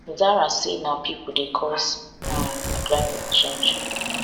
zahra say na pipo dey cause um climate change